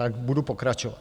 Tak budu pokračovat.